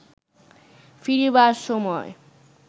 ফিরিবার সময়